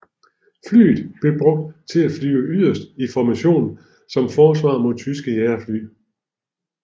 Flyet blev brugt til at flyve yderst i formationer som forsvar mod tyske jagerfly